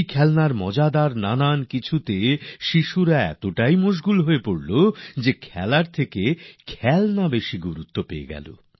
খেলনা নিয়ে ব্যস্ত বন্ধুদের সবাই খেলার চেয়ে সেই খেলনার দিকেই বেশি আকর্ষন বোধ করলো